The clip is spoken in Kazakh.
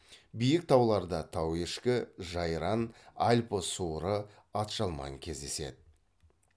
биік тауларда тауешкі жайран альпі суыры атжалман кездеседі